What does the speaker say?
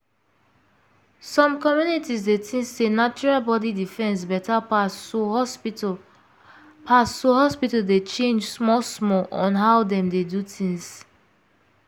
some communities dey think sey natural body defence better pass so hospital pass so hospital dey change small small on how dem dey do things.